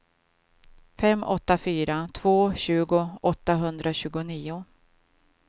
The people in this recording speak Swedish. fem åtta fyra två tjugo åttahundratjugonio